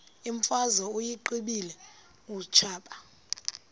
imfazwe uyiqibile utshaba